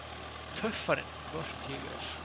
Töffarinn: Hvort ég er!